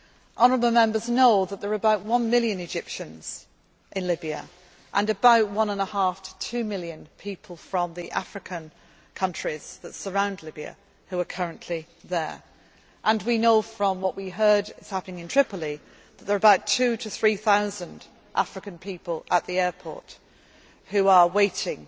to Egypt. Honourable Members know that there are about one million Egyptians in Libya, and about one and a half to two million people from the African countries that surround Libya who are currently there, and we know from what we heard is happening in Tripoli that there are about two to three thousand African people at the airport